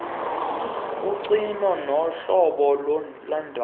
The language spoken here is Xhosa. kogcino nohlolo lwendoda